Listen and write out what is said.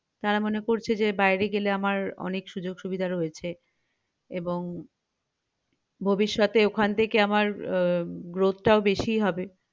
তারা মনে করছে যে বাইরে গেলে আমার অনেক সুযোগ সুবিধা রয়েছে এবং ভবিষ্যতে ওখান থেকে আমার উহ growth টাও বেশীই হবে